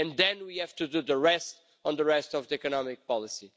And then we have to do the rest on the rest of the economic policy.